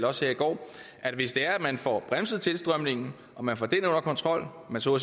også i går at hvis det er at man får bremset tilstrømningen og man får den under kontrol og man så